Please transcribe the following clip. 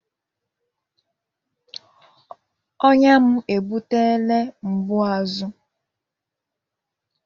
Ọnya m ebutela mgbu azụ